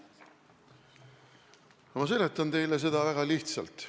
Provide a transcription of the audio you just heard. Ma seletan teile seda väga lihtsalt.